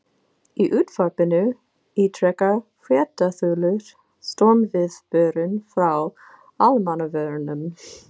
Í útvarpinu ítrekar fréttaþulur stormviðvörun frá Almannavörnum.